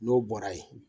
N'o bɔra ye